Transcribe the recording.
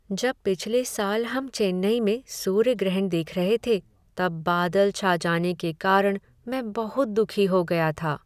जब पिछले साल हम चेन्नई में सूर्य ग्रहण देख रहे थे तब बादल छा जाने के कारण मैं बहुत दुखी हो गया था।